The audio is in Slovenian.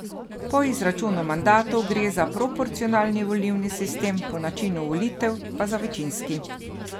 Po izračunu mandatov gre za proporcionalni volilni sistem, po načinu volitev pa za večinski.